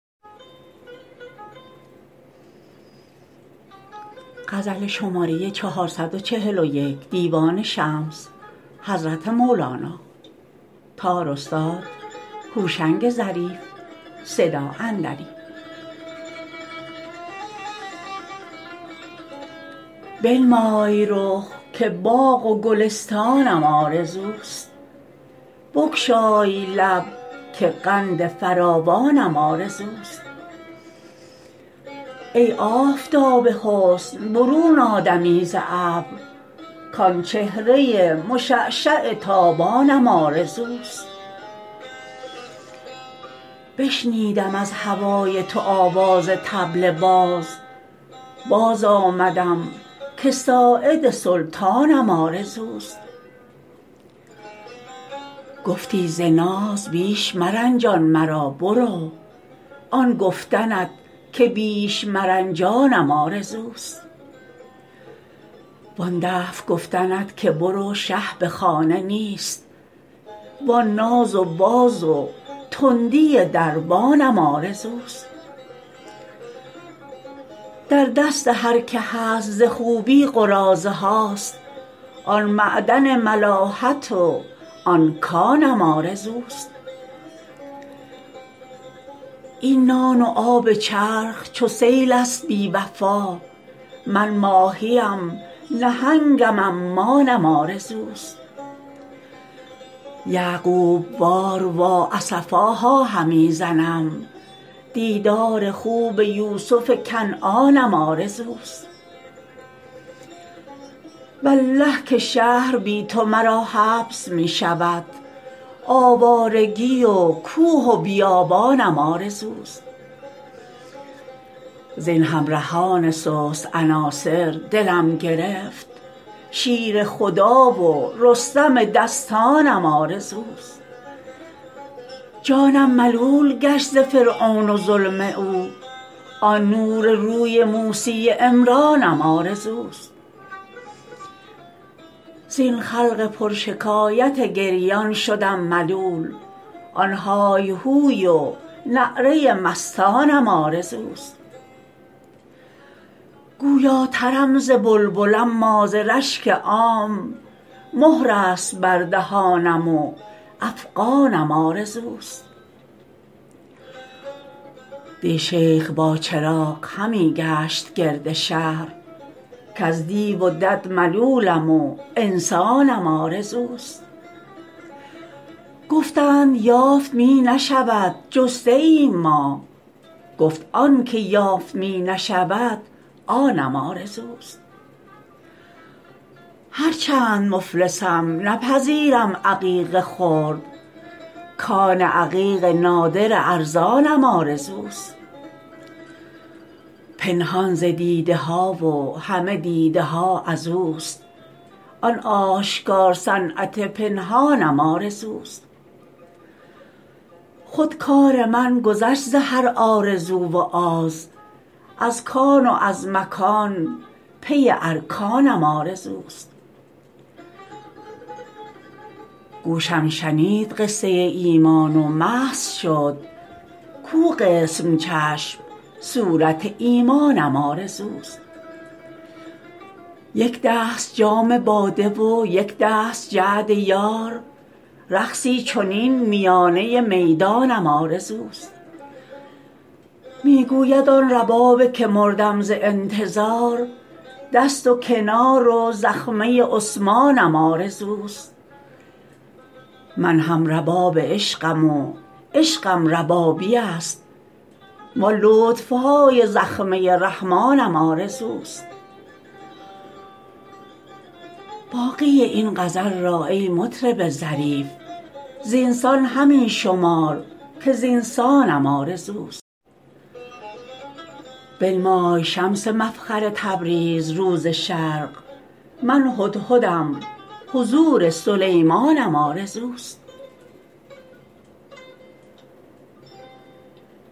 بنمای رخ که باغ و گلستانم آرزوست بگشای لب که قند فراوانم آرزوست ای آفتاب حسن برون آ دمی ز ابر کآن چهره مشعشع تابانم آرزوست بشنودم از هوای تو آواز طبل باز باز آمدم که ساعد سلطانم آرزوست گفتی ز ناز بیش مرنجان مرا برو آن گفتنت که بیش مرنجانم آرزوست وآن دفع گفتنت که برو شه به خانه نیست وآن ناز و باز و تندی دربانم آرزوست در دست هر که هست ز خوبی قراضه هاست آن معدن ملاحت و آن کانم آرزوست این نان و آب چرخ چو سیل است بی وفا من ماهی ام نهنگم و عمانم آرزوست یعقوب وار وا اسفاها همی زنم دیدار خوب یوسف کنعانم آرزوست والله که شهر بی تو مرا حبس می شود آوارگی و کوه و بیابانم آرزوست زین همرهان سست عناصر دلم گرفت شیر خدا و رستم دستانم آرزوست جانم ملول گشت ز فرعون و ظلم او آن نور روی موسی عمرانم آرزوست زین خلق پرشکایت گریان شدم ملول آن های هوی و نعره مستانم آرزوست گویاترم ز بلبل اما ز رشک عام مهر است بر دهانم و افغانم آرزوست دی شیخ با چراغ همی گشت گرد شهر کز دیو و دد ملولم و انسانم آرزوست گفتند یافت می نشود جسته ایم ما گفت آن چه یافت می نشود آنم آرزوست هرچند مفلسم نپذیرم عقیق خرد کان عقیق نادر ارزانم آرزوست پنهان ز دیده ها و همه دیده ها از اوست آن آشکار صنعت پنهانم آرزوست خود کار من گذشت ز هر آرزو و آز از کان و از مکان پی ارکانم آرزوست گوشم شنید قصه ایمان و مست شد کو قسم چشم صورت ایمانم آرزوست یک دست جام باده و یک دست جعد یار رقصی چنین میانه میدانم آرزوست می گوید آن رباب که مردم ز انتظار دست و کنار و زخمه عثمانم آرزوست من هم رباب عشقم و عشقم ربابی است وآن لطف های زخمه رحمانم آرزوست باقی این غزل را ای مطرب ظریف زین سان همی شمار که زین سانم آرزوست بنمای شمس مفخر تبریز رو ز شرق من هدهدم حضور سلیمانم آرزوست